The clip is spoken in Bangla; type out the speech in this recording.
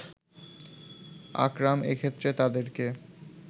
আকরাম এক্ষেত্রে তাদেরকে